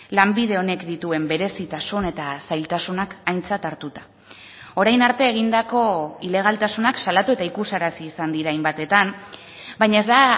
lanbide honek dituen berezitasun eta zailtasunak aintzat hartuta orain arte egindako ilegaltasunak salatu eta ikusarazi izan dira hainbatetan baina ez da